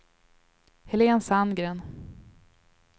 Helen Sandgren